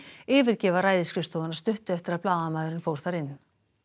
yfirgefa ræðisskrifstofuna stuttu eftir að blaðamaðurinn fór þar inn